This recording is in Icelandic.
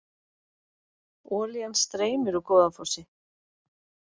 Olían streymir úr Goðafossi